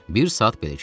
Bir saat belə keçdi.